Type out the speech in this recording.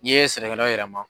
N'i ye sɛnɛkɛ yɔrɔ yɛlɛma